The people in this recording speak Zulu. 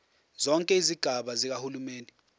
zonke izigaba zikahulumeni